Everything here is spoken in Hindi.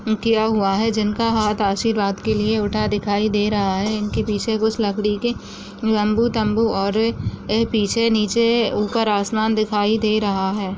किया हुआ है जिनका हाथ आशीर्वाद के लिए उठा दिखाई दे रहा है उनके पीछे कुछ लकड़ी के लम्बू तम्बू और अ पीछे निचे ऊपर आसमान दिखाई दे रहा है।